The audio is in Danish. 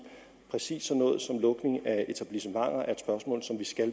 præcis sådan noget som lukning af etablissementer